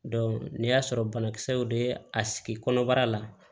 n'i y'a sɔrɔ banakisɛw bɛ a sigi kɔnɔbara la